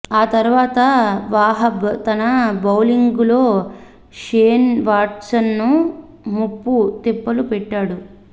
ఆ తర్వాత వాహబ్ తన బౌలింగులో షేన్ వాట్సన్ను ముప్పు తిప్పలు పెట్టాడు